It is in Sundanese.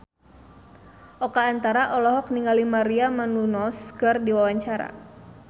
Oka Antara olohok ningali Maria Menounos keur diwawancara